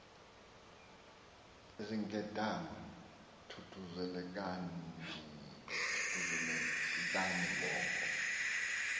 zinkedama thuthuzelekani ngoko